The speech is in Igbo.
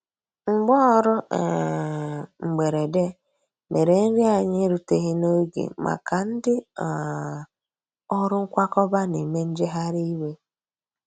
Mgbaọrụ um mgberede mere nri anyi eruteghi n'oge maka ndi um ọrụ nkwakọba n'eme njeghari iwe.